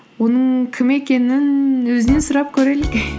оның кім екенін өзінен сұрап көрелік